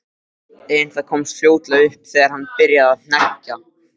En það komst fljótlega upp þegar hann byrjaði að hneggja.